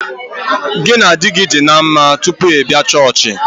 Gị na di gị dị ná mma tupu ị bịa chọọchị